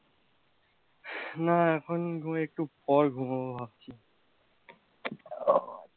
না এখন ঘুমিয়ে একটু পর ঘুমবো ভাবছি